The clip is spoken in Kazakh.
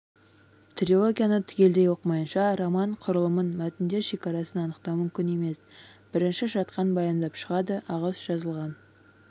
трилогияны түгелдей оқымайынша роман құрылымын мәтіндер шекарасын анықтау мүмкін емес бірінші жақтан баяндап шығады асығыс жазылған